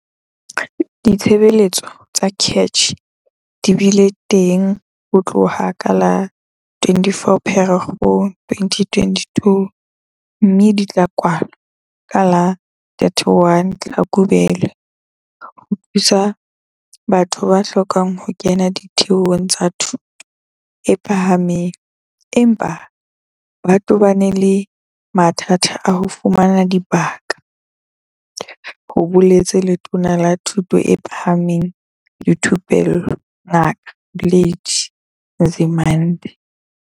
Ditshebeletso tsa CACH di bile teng ho tloha ka la 24 Pherekgong 2022 mme di tla kwalwa ka la 31 Tlhakubele ho thusa ba hlokang ho kena ditheong tsa thuto e phahameng empa ba tobane le mathata a ho fumana dibaka, ho boletse Letona la Thuto e Phahameng le Thupello Ngaka Blade Nzimande.